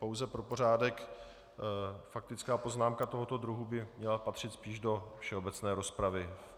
Pouze pro pořádek, faktická poznámka tohoto druhu by měla patřit spíš do všeobecné rozpravy.